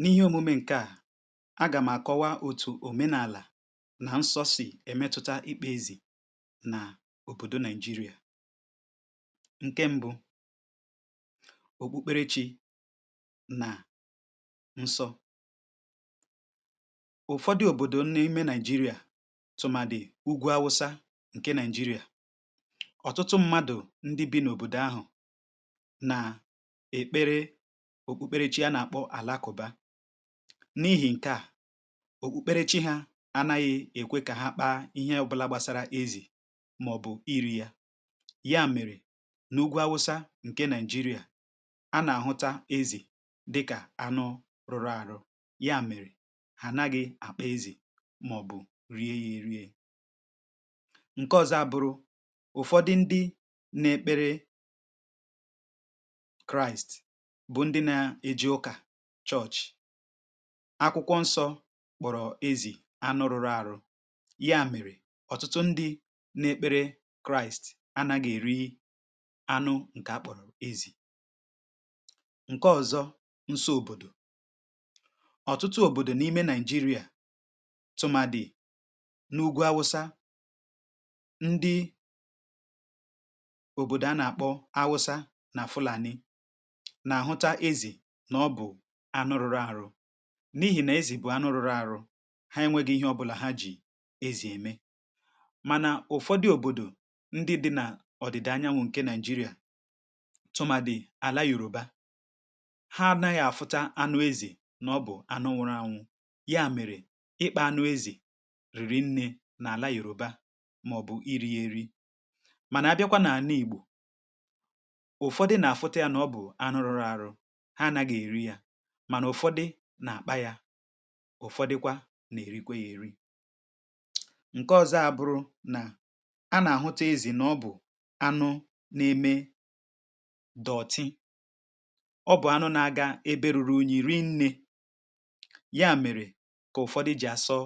n’ihi òmume ǹke à agàm àkọwa òtù òmenàlà nà nsọ̇ sì èmetuta ikpe ezì nà òbòdò naị̀jịrị̀à ǹke m̀bụ, òkpukpere chi nà nsọ ụ̀fọdụ òbòdò nà-ime nigeria tụ̀mà dì ugwù awụsa ǹke nigeria ọtụtụ mmadụ̀ ndị bi̇ n’òbòdò ahụ̀ na èkpere òkpùkpere chi ánà-àkpọ àlàkùba n’ihi̇ ǹkè a òkpùkpere chi hȧ anȧghị̇ èkwè kà ha akpaa ihe ọbụla gbasara ezì màọ̀bụ̀ iri̇ ya ya mèrè n’ugwȧ awụsa ǹke naị̀jịrị̀à a nà-àhụta ezì dịkà anụ rụ̀rụ̀ àrụ ya mèrè ha naghị̇ àkpa ezì màọ̀bụ̀ rie ya erie ǹke ọzọ abụrụ ụ̀fọdị ndị na-ekpere kraist bu ndi na eje uka chọchi akwụkwọ nsọ̇ kpọ̀rọ̀ ezì anụ rụrụ àrụ ya mèrè ọ̀tụtụ ndị na-ekpere kraist a na-gi-èri anụ ǹkè a kpọ̀rọ̀ ezì ǹke ọ̀zọ nso òbòdò ọ̀tụtụ òbòdò nà-ime nàịjirịa tụmadụ n’ugwu awụsa ndị òbòdò a nà-àkpọ awụsa nà fụlàni na ahuta ezi n’ọbụ anụ rụrụ arụ n’ihi nà ezì bụ̀ anụ rụrụ arụ ha enwėghi̇ ihe ọbụlà ha jì ezì emè mànà ụ̀fọdị òbòdò ndị dị nà ọ̀dị̀dị̀ anyanwụ̇ ǹkè naị̀jịrị̀à tụmadị àla yòròba ha anaghị afụta anụ ezì nà ọbụ anụ nwuru anwụ̇ ya mèrè ịkpȧ anụ ezì rìrì nnė nà àla yòròba màọ̀bụ̀ iri̇ yėri mànà a bịakwa nà àna ìgbò ụ̀fọdụ nà-afụta yȧ nà ọbụ anụ rụrụ arụ ha anaghi eri ya mànà ụ̀fọdụ nà-àkpa yȧ ụ̀fọdụkwa nà-èrikwe yȧ èri ǹke ọ̇zọ̇ abụrụ nà a nà-àhụtụ ezi̇ nà ọ bụ̀ anụ n’eme dọ̀ọ̀tị ọ bụ̀ anụ na-aga eberùrù ùnyi̇ ri nnė ya mèrè kà ụ̀fọdụ jì àsọ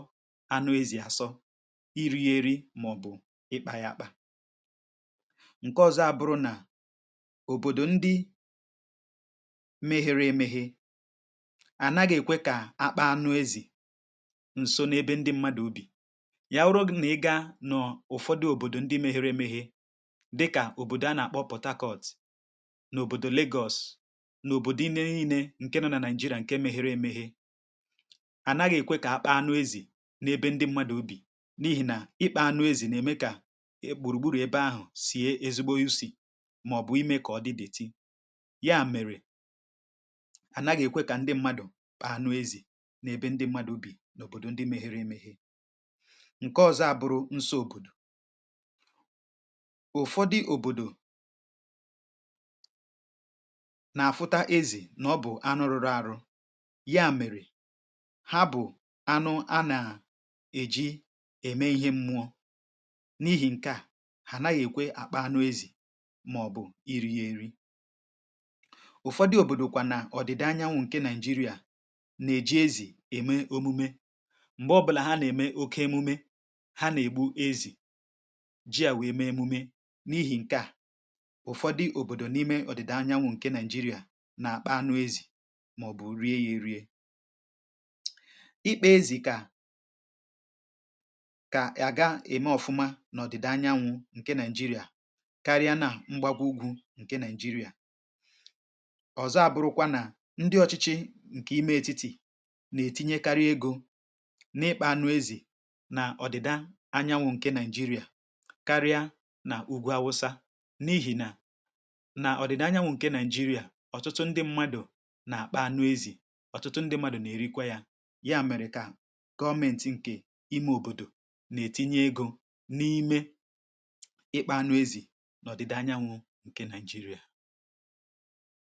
anụ ezi̇ àsọ irighiri màọ̀bụ̀ ịkpȧ yȧ àkpà ǹke ọ̇zọ̇ abụrụ nà obodo ndi mehere emehe à naghị̀ èkwe kà akpa anụ ezì ǹso n’ebe ndị mmadụ̀ ubì yà ụrụ nà ị gȧ nọ̀ ụ̀fọdụ òbòdò ndị mẹ̇hẹrẹ mẹghi̇ dịkà òbòdò a nà-àkpọ pọ̀takọ̀t n’òbòdò lagos n’òbòdò inė inė ǹke nọ̇ nà nàị̀jịrà ǹke mẹghị̇rị̇ emeghị̇ à naghị̀ èkwe kà akpa anụ ezì n’ebe ndị mmadụ̀ ubì n’ihì nà ịkpȧ anụ ezì nà ème kà e gbùrùgbùrù ebe ahụ̀ sì e ezigbo usì màọ̀bù imė kà ọ dị dòòtí ya mèrè ana gi ekwe ka ndi mmadu kpàà anụ ezì n’ebe ndị mmadụ̀ ubì n’òbòdò ndị meghere meghere ǹke ọzọ abụrụ nso òbòdò ụfọdụ òbòdò nà-afụta ezì nà ọ bụ̀ anụ rụrụ arụ ya mèrè ha bụ̀ anụ anà èji ème ihe mmụọ̇ n’ihi̇ ǹkè à anaghị̇ èkwe àkpà anụ ezì màọ̀bụ̀ iri̇ ya eri ufodu obodo kwa na odida anyawu nke naị̀jịrị̀à nà-èji ezì ème omume m̀gbe ọ bụlà ha nà-ème oke emume ha nà-ègbu ezì ji à wèe mee emume n’ihì ǹke à ụ̀fọdụ òbòdò n’ime ọ̀dị̀dà anyanwụ̇ ǹke naị̀jịrị̀à nà-àkpa anụ ezì màọ̀bụ̀ rie ya erie ikpe ezì kà kà àga-ème ọ̀fụma n’ọ̀dị̀dà anyanwụ̇ ǹke naị̀jịrị̀à karịa nà mgbagwo ugwù ǹke naị̀jịrị̀à òzo aburukwa na ndị ọchịchị ǹkè ime etiti̇ nà-ètinye karịa egȯ n’ịkpȧ anụ ezì nà ọ̀dị̀da anyanwụ̇ ǹke nigeria karịa nà ugwu awụsa n’ihì nà nà ọ̀dị̀da anyanwụ̇ ǹke nigeria ọ̀tụtụ ndị mmadụ̀ nà akpa anu ezì ọ̀tụtụ ndị mmadụ̀ nà-èrikwa yȧ ya mèrè kà gọmėntị̀ nke ime òbòdò nà-ètinye egȯ n’ime ịkpȧ anụ ezì nọ̀dịda anyanwụ̇ ǹke naị̀jịrị̀à.